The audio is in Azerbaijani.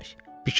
Neynəmək?